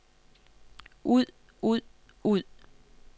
ud ud ud